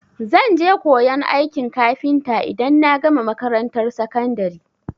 Zan je koyan aikin kafinta idan na gama makarantar sakandari.